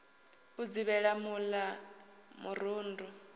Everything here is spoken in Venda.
u dzivhela mul a murundu